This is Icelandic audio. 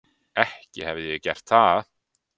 Ekki hefi ég gert það.